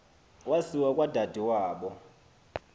wasiwa kwadade wabo